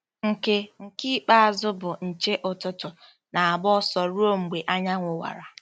Nke Nke ikpeazụ, bụ́ nche ụtụtụ, na-agba ọsọ ruo mgbe anyanwụ wara.